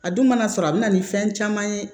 A dun mana sɔrɔ a bɛ na ni fɛn caman ye